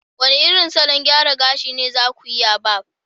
wane irin salon gyara gashi ne za ku iya Barb